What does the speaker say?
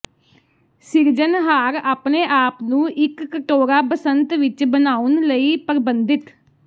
ਸਿਰਜਣਹਾਰ ਆਪਣੇ ਆਪ ਨੂੰ ਇੱਕ ਕਟੋਰਾ ਬਸੰਤ ਵਿੱਚ ਬਣਾਉਣ ਲਈ ਪਰਬੰਧਿਤ